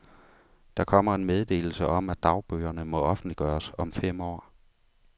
Der kommer en meddelelse om, at dagbøgerne må offentliggøres om fem år.